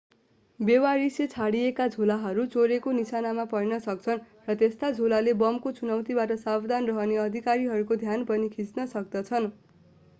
बेवारिसे छाडिएका झोलाहरू चोरको निशानामा पर्न सक्छन् र यस्ता झोलाले बमको चुनौतीबाट सावधान रहने अधिकारीहरूको ध्यान पनि खिच्न सक्दछन्